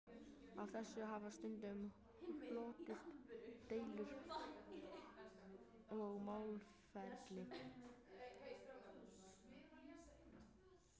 Af þessu hafa stundum hlotist deilur og málaferli.